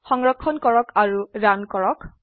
সংৰক্ষণ কৰক আৰু ৰান কৰক